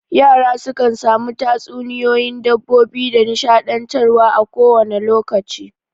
Yara sukan sami tatsuniyoyin dabbobi da nishaɗantar wa a ko wane lokaci